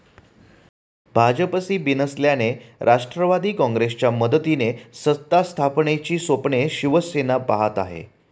भाजपशी बिनसल्याने राष्ट्रवादी काँग्रेसच्या मदतीने सत्तास्थापनेची स्वप्ने शिवसेना पाहत आहे.